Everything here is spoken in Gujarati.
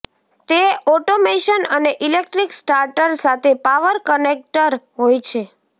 તે ઓટોમેશન અને ઇલેક્ટ્રીક સ્ટાર્ટર સાથે પાવર કનેક્ટર હોય છે